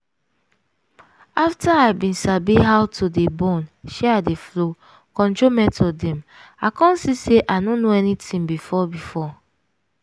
afta i bin sabi about to dey born shey i dey flow control method dem i come see say i no know anything before before.